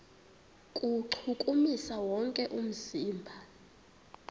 kuwuchukumisa wonke umzimba